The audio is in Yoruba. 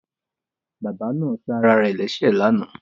Bàbá náà ṣe ara rẹ̀ lẹ́sẹ̀ lánàá